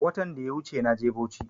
Watan daya wuche naje bauchi